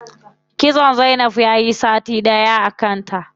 Kitson zainab yayi sati ɗaya a kanta.